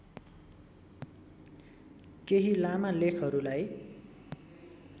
केही लामा लेखहरूलाई